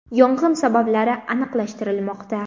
Yong‘in sabablari aniqlashtirilmoqda.